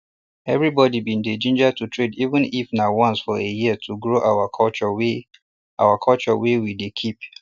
everybody bin dey ginger to trade even if na once for a year to grow our culture wey our culture wey we dey keep